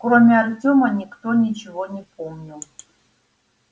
кроме артёма никто ничего не помнил